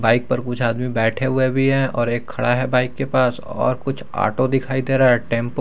bike पर कुछ आदमी बैठे हुए भी है और एक खड़ा है बाइक के पास और कुछ ऑटो दिखाई दे रहा है टेंपो --